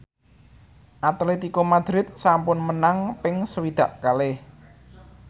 Atletico Madrid sampun menang ping swidak kalih